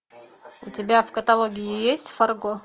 у тебя в каталоге есть фарго